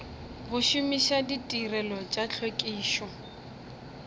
go šomiša ditirelo tša tlhwekišo